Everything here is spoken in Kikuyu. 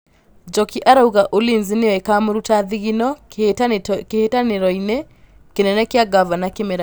Njoki arauga Ulinzi nĩyo ĩkamũruta thigino kĩhĩtahĩtanoinĩ kĩnene kĩa Ngavana kĩmera gĩkĩ.